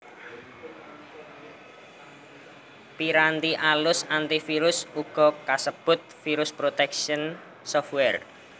Piranti alus antivirus uga kasebut Virus protection software